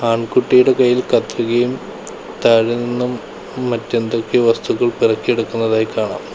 ആൺകുട്ടിയുടെ കൈയിൽ കത്രികയും താഴെ നിന്നും മറ്റെന്തൊക്കെയോ വസ്തുക്കൾ പെറുക്കിയെടുക്കുന്നതായും കാണാം.